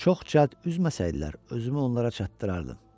Çox cəld üzməsəydilər, özümü onlara çatdırardım.